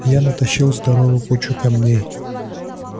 я натащил здоровую кучу камней